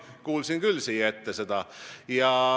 Ma kuulsin küll siia ette seda.